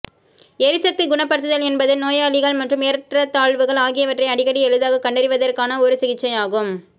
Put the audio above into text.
எரிசக்தி குணப்படுத்துதல் என்பது நோயாளிகள் மற்றும் ஏற்றத்தாழ்வுகள் ஆகியவற்றை அடிக்கடி எளிதாகக் கண்டறிவதற்கான ஒரு சிகிச்சை ஆகும்